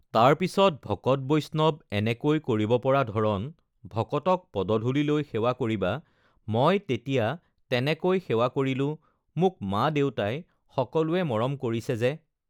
তাৰপিছত ভকত বৈষ্ণৱ এনেকৈ কৰিব পৰা ধৰণ ভকতক পদধূলি লৈ সেৱা কৰিবা মই তেতিয়া তেনেকৈ সেৱা কৰিলোঁ মোক মা দেউতাই সকলোৱে মৰম কৰিছে যে